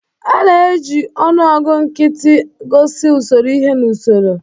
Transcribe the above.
A na-eji ọnụọgụ nkịtị gosi usoro ihe n'usoro.